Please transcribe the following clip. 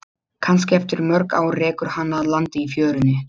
Kannski eftir mörg ár rekur hana að landi í fjörunni.